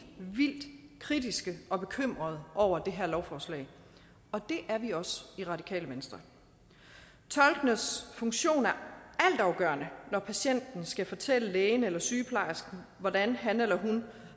vildt kritiske og bekymrede over det her lovforslag og det er vi også i radikale venstre tolkenes funktion er altafgørende når patienten skal fortælle lægen eller sygeplejersken hvordan han eller hun